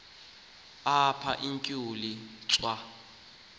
apha utshutshi swa